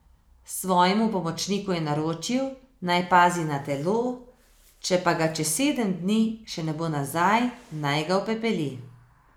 Svojemu pomočniku je naročil, naj pazi na telo, če pa ga čez sedem dni še ne bo nazaj, naj ga upepeli.